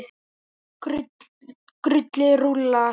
Kurlið rúllar.